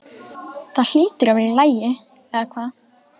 Það hlýtur að vera í lagi, eða hvað?